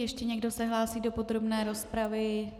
Ještě někdo se hlásí do podrobné rozpravy?